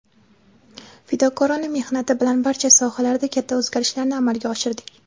fidokorona mehnati bilan barcha sohalarda katta o‘zgarishlarni amalga oshirdik.